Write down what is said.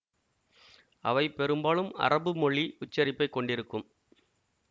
அவை பெரும்பாலும் அரபு மொழி உச்சரிப்பை கொண்டிருக்கும்